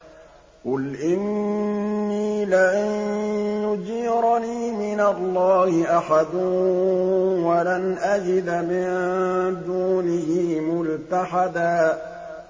قُلْ إِنِّي لَن يُجِيرَنِي مِنَ اللَّهِ أَحَدٌ وَلَنْ أَجِدَ مِن دُونِهِ مُلْتَحَدًا